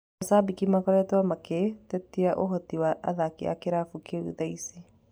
Mashambĩki nĩmakoretwo magĩtetia ũhoti wa athaki a kĩrabu kĩu thaicĩ.